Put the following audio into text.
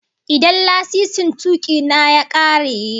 Idan lasisin tuki na ya gama aiki, ma'aikatan tashar mota zasu bar ni in dauki fasinja?